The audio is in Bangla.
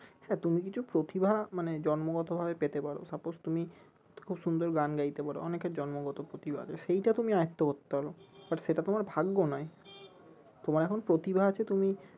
হ্যাঁ তুমি কিছু প্রতিভা মানে জন্মগত ভাবে পেতে পারো suppose তুমি খুব সুন্দর গান গাইতে পারো অনেকের জন্মগত প্রতিভা আছে সেইটা তুমি আয়ত্ত করতে পারো but সেটা তোমার ভাগ্য নই তোমার এখন প্রতিভা আছে তুমি